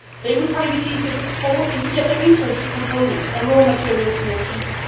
They would find it easier to export and to get their imported components and raw materials more cheaply.